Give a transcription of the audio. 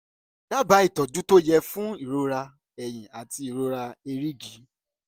dábàá ìtọ́jú tó yẹ fún irora eyín àti irora èrìgì